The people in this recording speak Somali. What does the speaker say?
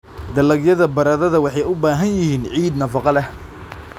Dalagyada baradhada waxay u baahan yihiin ciid nafaqo leh.